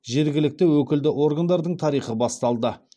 жергілікті өкілді органдардың тарихы басталды